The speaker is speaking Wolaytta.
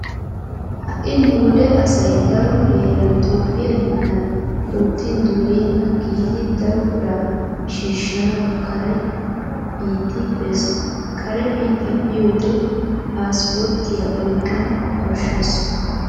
Ha"i nu wode asay daro heeran toophphiya biittan oottin dureyenna giidi daro biraa shiishshanawu kare biitti bees. Kare biitti biyode paasiporttiya oyqqana koshshees.